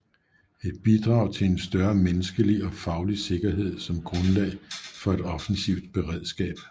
Et bidrag til en større menneskelig og faglig sikkerhed som grundlag for et offensivt beredskab